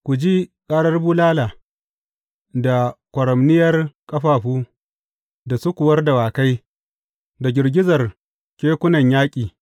Ku ji karar bulala da kwaramniyar ƙafafu, da sukuwar dawakai da girgizar kekunan yaƙi!